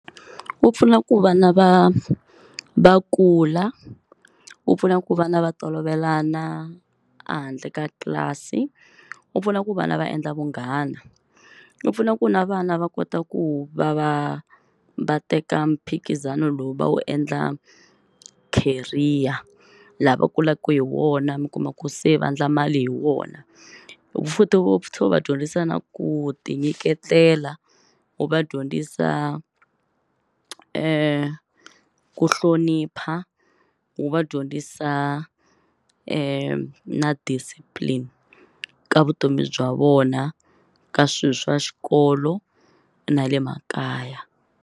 Wu pfuna ku vana va va kula, wu pfuna ku vana va tolovelana a handle ka tlilasi, wu pfuna ku vana va endla vunghana, wu pfuna ku na vana va kota ku va va va teka mphikizano lowu va wu endla career, laha va kulaka hi wona mi kuma ku se va endla mali hi wona. Futhi wu tlhela u va dyondzisa na ku tinyiketela, wu va dyondzisa ku hlonipha, wu va dyondzisa na discipline ka vutomi bya vona ka swilo swa xikolo na le makaya.